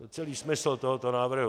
To je celý smysl tohoto návrhu.